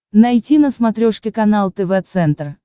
найти на смотрешке канал тв центр